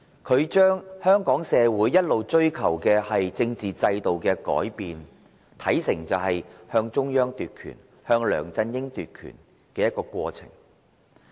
他將香港社會一直追求的政治制度改變，貶視為向中央、向梁振英奪權的過程。